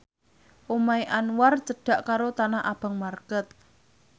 omahe Anwar cedhak karo Tanah Abang market